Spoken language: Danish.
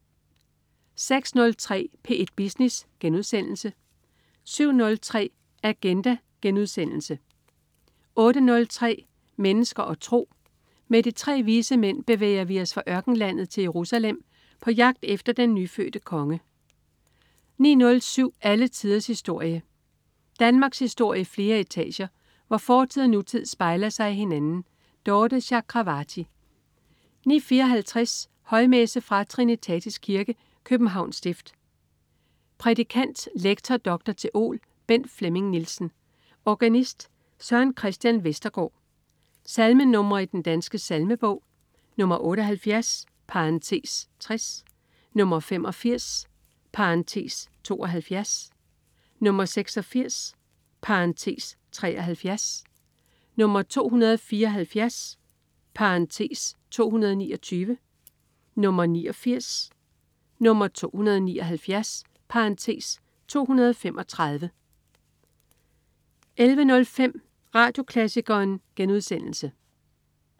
06.03 P1 Business* 07.03 Agenda* 08.03 Mennesker og tro. Med de tre vise mænd bevæger vi os fra ørkenlandet til Jerusalem på jagt efter den nyfødte konge 09.07 Alle tiders historie. Danmarkshistorie i flere etager, hvor fortid og nutid spejler sig i hinanden. Dorthe Chakravarty 09.54 Højmesse. Fra Trinitatis Kirke, Københavns Stift. Prædikant: lektor, dr. theol. Bent Flemming Nielsen. Organist: Søren Christian Vestergaard. Salmenr. i Den Danske Salmebog: 78 (60), 85 (72), 86 (73), 274 (229), 89, 279 (235) 11.05 Radioklassikeren*